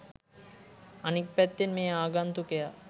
අනික් පැත්තෙන් මේ ආගන්තුකයා